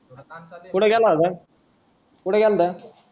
कुठं गेलता कुठं गेला होता